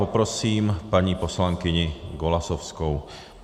Poprosím paní poslankyni Golasowskou.